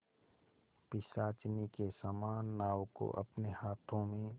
पिशाचिनी के समान नाव को अपने हाथों में